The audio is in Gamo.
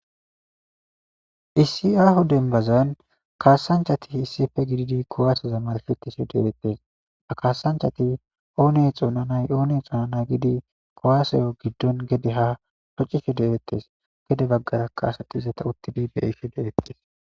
Issi aaho dembbazan kassanchati isdipe giddidi kuwaseza marshetishe de7etes, ha kaasanchchat oone xoonanay oone xoonanay giidi kuwaseza gidira woxetishe de7eetes.